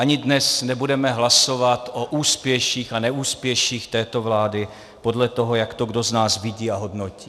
Ani dnes nebudeme hlasovat o úspěších a neúspěších této vlády, podle toho, jak to kdo z nás vidí a hodnotí.